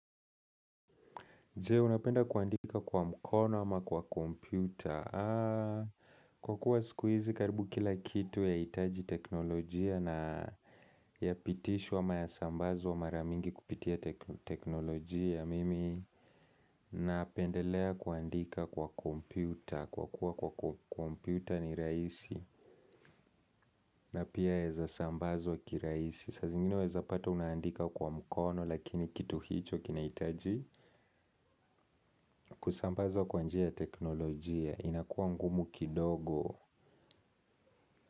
Je, unapenda kuandika kwa mkono ama kwa kompyuta. Kwa kuwa siku hizi, karibu kila kitu yahitaji teknolojia na yapitishwa ama yasambazwa mara mingi kupitia teknolojia. Mimi, napendelea kuandika kwa kompyuta. Kwa kuwa kwa kompyuta ni raisi. Na pia yaweza sambazwa kirahisi. Saa zingine waweza pata unaandika kwa mkono, lakini kitu hicho kinahitaji kusambazwa kwa njia ya teknolojia. Inakuwa ngumu kidogo.